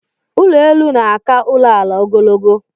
Ụlọelu na-aka ụlọala ogologo